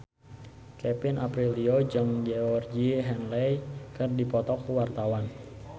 Kevin Aprilio jeung Georgie Henley keur dipoto ku wartawan